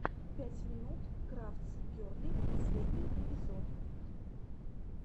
пять минут крафтс герли последний эпизод